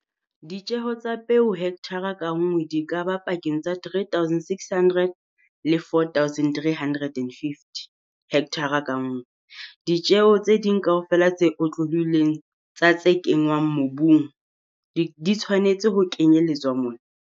Ditjeho tsa peo hekthara ka nngwe di ka ba pakeng tsa R3 600 le R4 350 hekthara ka nngwe. Ditjeho tse ding kaofela tse otlollohileng tsa tse kenngwang mobung di tshwanetse ho kenyeletswa mona.